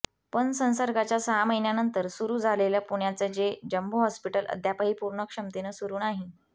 पण संसर्गाच्या सहा महिन्यांनंतर सुरु झालेलं पुण्याचं हे जंबो हॉस्पिटल अद्यापही पूर्ण क्षमतेनं सुरु नाही